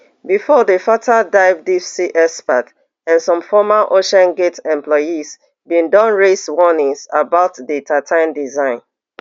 before di fatal dive deep sea experts and some former oceangate employees bin don raise warnings about di titan design